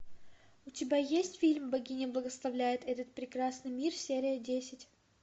у тебя есть фильм богиня благословляет этот прекрасный мир серия десять